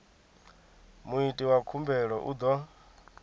muiti wa khumbelo u ḓo